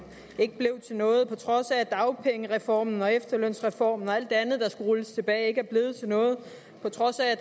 ikke blev til noget på trods af at dagpengereformen og efterlønsreformen og alt det andet der skulle rulles tilbage ikke er blevet til noget på trods af at